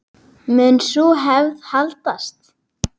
Mun sú hefð haldast?